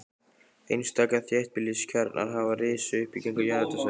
Einstaka þéttbýliskjarnar hafa risið upp kringum jarðhitasvæði.